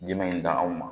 Dimi in da anw ma